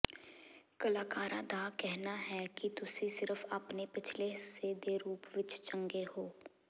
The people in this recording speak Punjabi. ਕਲਾਕਾਰਾਂ ਦਾ ਕਹਿਣਾ ਹੈ ਕਿ ਤੁਸੀਂ ਸਿਰਫ ਆਪਣੇ ਪਿਛਲੇ ਹਿੱਸੇ ਦੇ ਰੂਪ ਵਿੱਚ ਚੰਗੇ ਹੋ